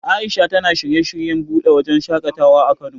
A'isha tana shirye shiryen buɗe wajen shaƙatawa a Kano.